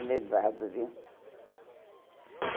levado, viu?